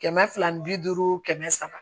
Kɛmɛ fila ni bi duuru kɛmɛ saba